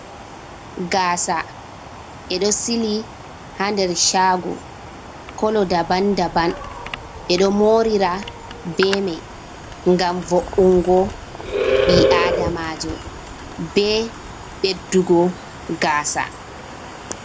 Gaasa, ɓe ɗo sili ha nder shaago, kolo daban-daban, ɓe ɗo moorira be mai ngam vo’ungo ɓii-Aadamaajo, be ɓeddugo gaasa.